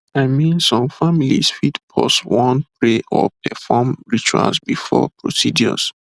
i mean some families fit pause wan pray or perform rituals before procedures